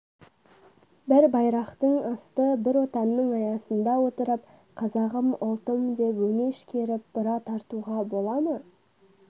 бір байрақтың асты бір отанның аясында отырып қазағым ұлтым деп өңеш керіп бұра тартуға бола ма